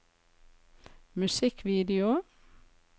musikkvideo